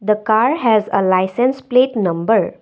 the car has a licence plate number.